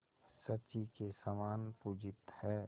शची के समान पूजित हैं